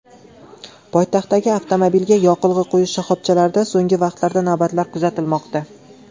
Poytaxtdagi avtomobilga yoqilg‘i quyish shaxobchalarida so‘nggi vaqtlarda navbatlar kuzatilmoqda.